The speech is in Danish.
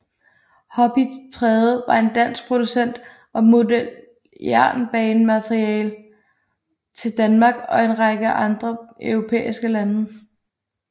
Hobbytrade var en dansk producent af modeljernbanemateriel til Danmark og en række andre europæiske lande